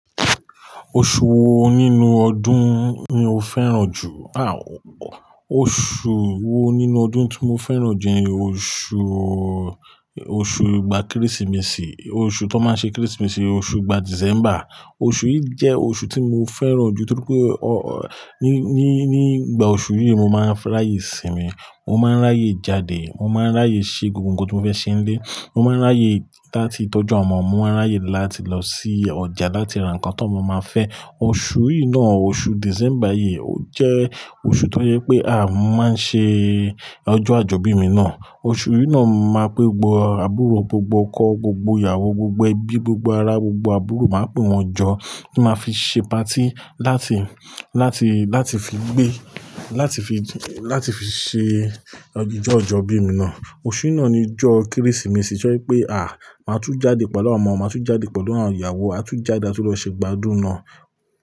Oṣù wo nínú ọdún ni o fẹ́ràn jù? Àw. Oṣù wo nínú ọdún tí mo fẹ́ràn jù ni oṣù, oṣù ìgbà Kérésìmesì, oṣù tán máa ṣe Kérésìmesì, oṣù ìgbà December. Oṣù yìí jẹ́ oṣù tí mo fẹ́ràn jù torí pé ọ, ní, ní, ní ìgbà oṣù yìí ni mo máa ń ráyè sinmi, mo máa ń ráyè jáde, mo máa ń ráyè ṣe gbogbo nǹkan tí mo fẹ́ ṣe nílé, mo máa ń ráyè láti tọ́jú àwọn ọmọ, mo máa ń ráyè láti lọ sí ọjà láti ra nǹkan tí ọmọ ma fẹ́. Oṣù yìí náà, oṣù December yìí ó jẹ́ oṣù tó jẹ́ pé a máa ń ṣe ọjọ́ àjọbí mi náà. Oṣù yìí náà a máa pé gbọ́ aburo gbogbo, ọkọ gbogbo, ìyàwó gbogbo, ẹbí gbogbo, ará gbogbo, àbúrò máa pè wọ́n jọ kí a máa fi ṣe patí láti, láti, láti fi gbé, láti fi, láti fi ṣe ojú ọjọ́ àjọ̀bí mi náà. Oṣù yìí náà ni ọjọ́ Kérésìmesì tó jẹ́ pé a máa tún jáde pẹ̀lú àwọn ọmọ, máa tún jáde pẹ̀lú àwọn ìyàwó, a tún jáde láti lọ ṣe gbádùn náà.